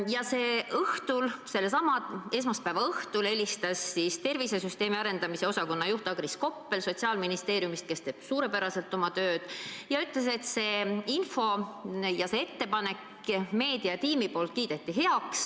Ja sellesama esmaspäeva õhtul helistas Sotsiaalministeeriumi tervisesüsteemi arendamise osakonna juht Agris Koppel, kes teeb suurepäraselt oma tööd, ja ütles, et meediatiim kiitis selle ettepaneku heaks.